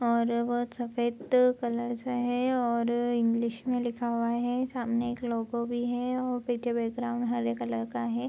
और बहुत सफेद कलरस और इंग्लिश में लिखा हुआ है सामने एक लोगो भी है और पीछे बैकग्राउंड हरे कलर का है।